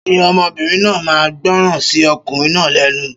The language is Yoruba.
Ṣé ọmọbìnrin náà ma gbọràn sí okùnrin náà lénu?